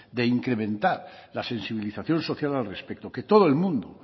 de incrementar la sensibilización social al respecto que todo el mundo